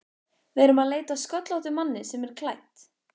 Við erum að leita að sköllóttum manni sem er klædd